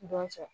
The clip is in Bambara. Dɔn cɛ